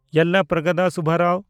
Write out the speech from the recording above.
ᱭᱮᱞᱞᱟᱯᱨᱟᱜᱚᱫᱟ ᱥᱩᱵᱽᱵᱟᱨᱟᱣ